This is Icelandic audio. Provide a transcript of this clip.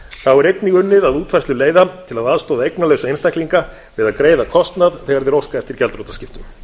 þá er einnig unnið að útfærslu leiða til að aðstoða eignalausa einstaklinga við að greiða kostnað þegar þeir óska eftir gjaldþrotaskiptum